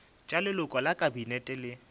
tša leloko la kabinete le